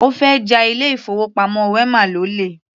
Ó fẹ́ ja ilé-ìfowópamọ́ wema lólè.